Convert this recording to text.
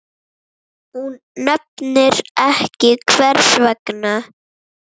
Hún nefnir ekki hvers vegna.